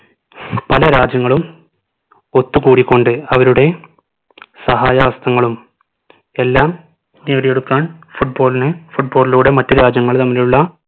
പല രാജ്യങ്ങളും ഒത്തുകൂടിക്കൊണ്ട് അവരുടെ സഹായ ഹസ്തങ്ങളും എല്ലാം നേടിയെടുക്കാൻ football ന് football ലൂടെ മറ്റു രാജ്യങ്ങൾ തമ്മിലുള്ള